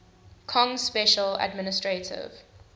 kong special administrative